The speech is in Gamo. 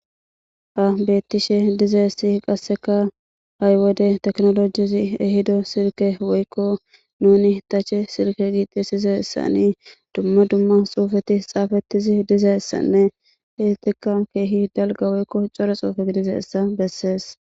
ha bettishe dizaessi qasseka haywode teknolojizi ehido sirke woykko nuni tache sirke giixisize ssanii dumma dumma xuufeti xaafettizi diza essanne istika keehi dalga woykko core xoufeti diza essa bessees